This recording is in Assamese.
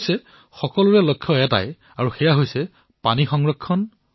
কিন্তু সকলোৰে লক্ষ্য এটাই সেয়া হল পানী সংৰক্ষণ কৰা